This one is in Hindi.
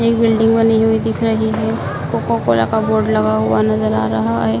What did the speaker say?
ये बिल्डिंग बनी हुई दिख रही है। कोकाकोला का बोर्ड लगा हुआ नजर आ रहा है।